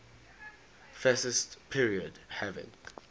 fascist period having